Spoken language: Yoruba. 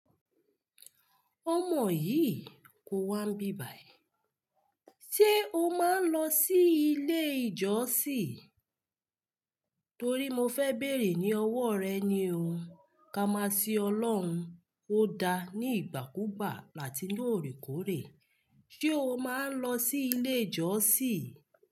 Ọmọ yìí kò wá n bíbà yìí. Ṣé o máa ń lọ sí ilé ìjọsìn? Torí mo fẹ́ béèrè ní ọwọ́ rẹ ni o. Ka máa sìn Ọlọ́run, ó da ní ìgbàkúgbà àti ní òrékòré. Ṣé o máa ń lọ sí ilé ìjọsìn?